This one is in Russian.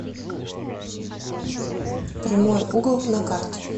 прямой угол на карте